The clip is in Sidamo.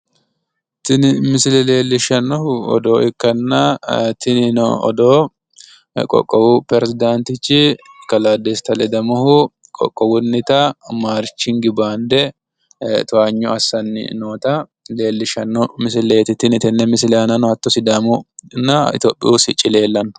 Tini misile leelishanohu odoo ikkanna Ayirradu qoqqowu peresidaantichi Desta ledamohu marshi bande towaanyo assani nootta leelishano